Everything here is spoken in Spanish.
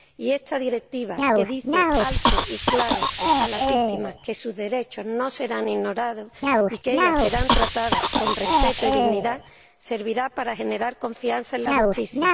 Y esta Directiva, que dice alto y claro a las víctimas que sus derechos no serán ignorados y que serán tratadas con respeto y dignidad, servirá para generar confianza en la justicia.